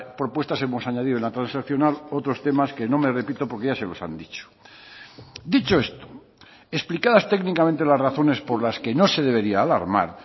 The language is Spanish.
propuestas hemos añadido en la transaccional otros temas que no me repito porque ya se los han dicho dicho esto explicadas técnicamente las razones por las que no se debería alarmar